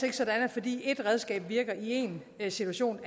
ikke sådan at fordi et redskab virker i én situation